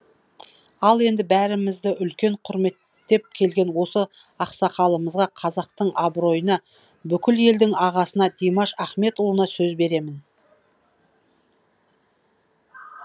ал енді бәрімізді үлкен құрметтеп келген осы ақсақалымызға қазақтың абыройына бүкіл елдің ағасына димаш ахметұлына сөз беремін